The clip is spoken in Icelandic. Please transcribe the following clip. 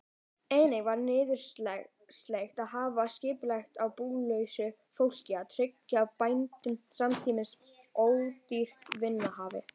Einnig var nauðsynlegt að hafa skipulag á búlausu fólki og tryggja bændum samtímis ódýrt vinnuafl.